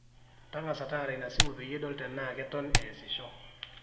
tagasa taara ina simu peyie idol tenaa keton eesisho